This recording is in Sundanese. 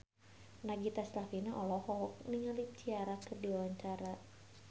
Nagita Slavina olohok ningali Ciara keur diwawancara